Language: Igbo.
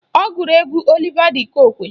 Ọ gụrụ egwu Oliva d Kokwe